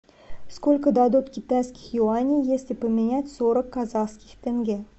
сколько дадут китайских юаней если поменять сорок казахских тенге